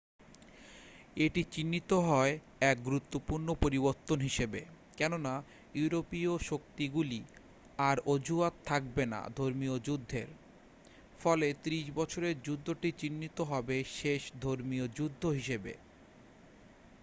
এটি চিহ্নিত হয় এক গুরুত্বপূর্ণ পরিবর্তন হিসেবে কেননা ইউরোপীয় শক্তিগুলির আর অজুহাত থাকবে না ধর্মীয় যুদ্ধের ফলে ত্রিশ বছরের যুদ্ধটি চিহ্নিত হবে শেষ ধর্মীয় যুদ্ধ হিসাবে